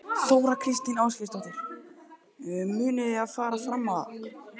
Þóra Kristín Ásgeirsdóttir: Munið þið fara fram á það?